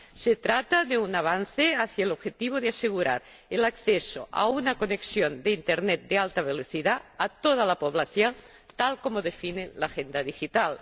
Se trata de un avance hacia el objetivo de asegurar el acceso a una conexión de Internet de alta velocidad a toda la población, tal como lo define la Agenda Digital.